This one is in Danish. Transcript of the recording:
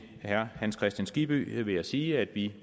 herre hans kristian skibby vil jeg sige at vi